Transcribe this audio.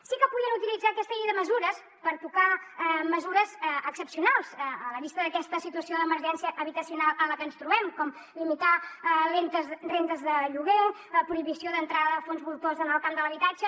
sí que podien utilitzar aquesta llei de mesures per tocar mesures excepcionals a la vista d’aquesta situació d’emergència habitacional en la que ens trobem com limitar rendes de lloguer prohibició d’entrada de fons voltors en el camp de l’habitatge